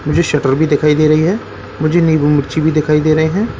मुझे सटर भी दिखाई दे रही है मुझे नीबू मिर्ची भी दिखाई दे रहे हैं।